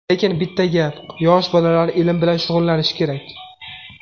Lekin, bitta gap yosh bolalar ilm bilan shug‘ullanishi kerak.